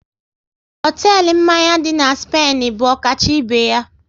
Hotelu mmanya dị na Spainu bụ ọkacha ibe ya